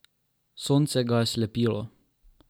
Sonce ga je slepilo.